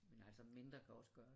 Men altså mindre kan også gøre det